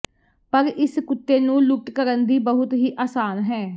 ਪਰ ਇਸ ਕੁੱਤੇ ਨੂੰ ਲੁੱਟ ਕਰਨ ਦੀ ਬਹੁਤ ਹੀ ਆਸਾਨ ਹੈ